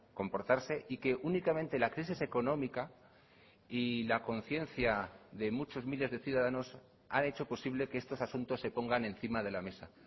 comportarse y que únicamente la crisis económica y la conciencia de muchos miles de ciudadanos han hecho posible que estos asuntos se pongan encima de la mesa